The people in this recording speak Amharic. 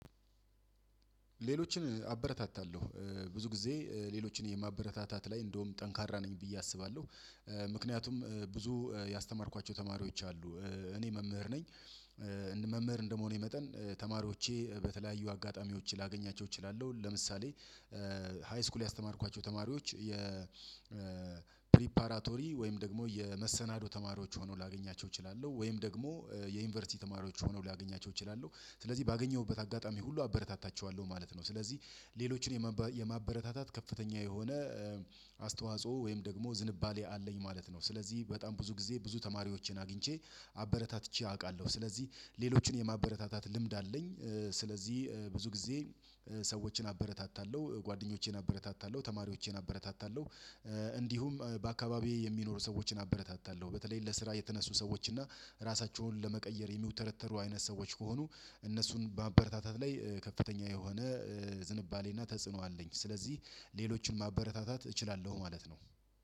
ሌሎችን አበረታታለሁ። ብዙ ጊዜ ሌሎችን የማበረታታት ላይ እንደውም ጠንካራ ነኝ ብዬ አስባለሁ። ምክንያቱም ብዙ ያስተማርኳቸው ተማሪዎች አሉ። እኔ መምህር ነኝ መምህር እንደመሆኔ መጠን ተማሪዎቼ በተለያዩ አጋጣሚዎች ላገኛቸው እችላለሁ። ለምሳሌ ሃይስኩል ያስተማርኳቸው ተማሪዎች የ የፕሪፓራቶሪ ወይም ደግሞ የመሰናዶ ተማሪዎች ሆነው ላገኛቸው እችላለሁ። ወይም ደግሞ የዩኒቨርሲቲ ተማሪዎች ሆነው ላገኛቸው እችላለሁ። ስለዚህ ባገኘሁበት አጋጣሚ ሁሉ አበረታታቸዋለሁ ማለት ነው። ስለዚህ ሌሎችን የማበ ማበረታታት ከፍተኛ የሆነ አስተዋጽኦ ወይም ደግሞ ዝንባሌ አለኝ ማለት ነው። ስለዚህ በጣም ብዙ ጊዜ ብዙ ተማሪዎችን አግኝቼ አበረታትቼ አውቃለሁ። ስለዚህ ሌሎችን የማበረታታት ልምድ አለኝ። ስለዚህ ብዙ ጊዜ ሰዎችን አበረታታለሁ። ጓደኞቼን አበረታታለሁ። ተማሪዎቼን አበረታታለሁ። እንዲሁም በአካባቢዬ የሚኖሩ ሰዎችን አበረታታለሁ። በተለይ ለስራ የተነሱ ሰዎች እና ራሳቸውን ለመቀየር የሚውተረተሩ አይነት ሰዎች ከሆኑ እነሱን በማበረታታት ላይ ከፍተኛ የሆነ ዝንባሌና ተጽዕኖ አለኝ። ስለዚህ ሌሎችን ማበረታታት እችላለሁ ማለት ነው።